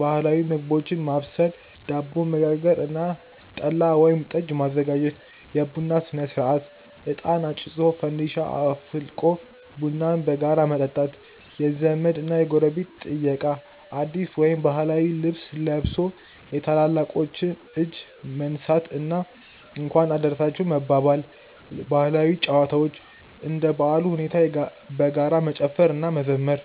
ባህላዊ ምግቦችን ማብሰል፣ ዳቦ መጋገር እና ጠላ ወይም ጠጅ ማዘጋጀት። የቡና ሥነ-ሥርዓት፦ እጣን አጭሶ፣ ፋንዲሻ አፍልቆ ቡናን በጋራ መጠጣት። የዘመድ እና ጎረቤት ጥየቃ፦ አዲስ ወይም ባህላዊ ልብስ ለብሶ የታላላቆችን እጅ መንሳት እና "እንኳን አደረሳችሁ" መባባል። ባህላዊ ጨዋታዎች፦ እንደ በዓሉ ሁኔታ በጋራ መጨፈር እና መዘመር።